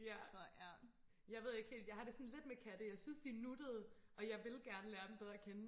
ja jeg ved ikke helt jeg har det sådan lidt med katte jeg synes de er nuttede og jeg vil gerne lære dem bedre og kende